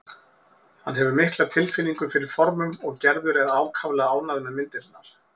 Hann hefur mikla tilfinningu fyrir formum og Gerður er ákaflega ánægð með myndirnar.